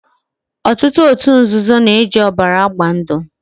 Otutu otu nzuzo na-eji obara agba ndu